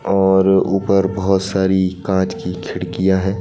और ऊपर बहोत सारी कांच की खिड़कियां हैं।